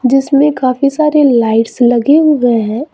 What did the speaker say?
जिसमें काफी सारे लाइट्स लगे हुए है।